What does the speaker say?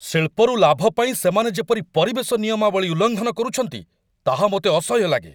ଶିଳ୍ପରୁ ଲାଭ ପାଇଁ ସେମାନେ ଯେପରି ପରିବେଶ ନିୟମାବଳୀ ଉଲ୍ଲଂଘନ କରୁଛନ୍ତି ତାହା ମୋତେ ଅସହ୍ୟ ଲାଗେ।